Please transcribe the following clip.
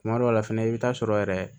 Kuma dɔw la fɛnɛ i bɛ taa sɔrɔ yɛrɛ